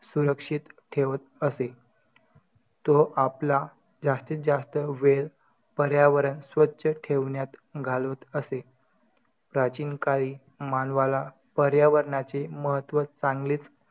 अ महिला नवरा बायको नवऱ्याने बायकोला